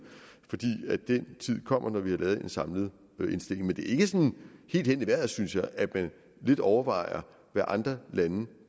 for den tid kommer når vi har lavet en samlet indstilling men det er ikke sådan helt hen i vejret synes jeg at man lidt overvejer hvad andre lande